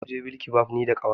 Zamu je bilkibab ni da ƙawata.